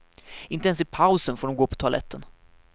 Inte ens i pausen får de gå på toaletten.